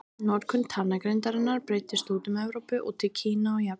Notkun talnagrindarinnar breiddist út um Evrópu og til Kína og Japans.